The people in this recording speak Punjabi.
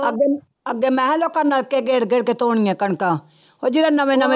ਅੱਗੇ ਅੱਗੇ ਮੈਂ ਕਿਹਾ ਲੋਕਾਂ ਨਲਕੇ ਗੇੜ ਗੇੜ ਕੇ ਧੋਣੀਆਂ ਕਣਕਾਂ, ਉਹ ਜਦੋਂ ਨਵੇਂ ਨਵੇਂ